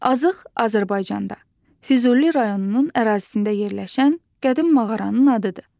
Azıq Azərbaycanda, Füzuli rayonunun ərazisində yerləşən qədim mağaranın adıdır.